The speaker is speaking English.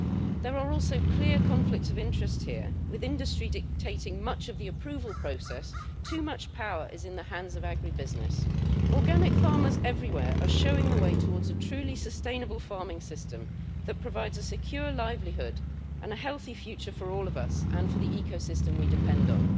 There are also clear conflicts of interest here with industry dictating much of the approval process, too much power is in the hands of agribusiness. Organic farmers everywhere are showing the way towards a truly sustainable farming system that provides a secure livelihood and a healthy future for all of us and for the ecosystem we depend on.